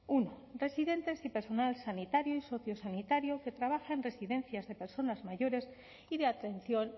uno residentes y personal sanitario y sociosanitario que trabaje en residencias de personas mayores y de atención